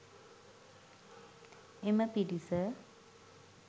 එම පිරිස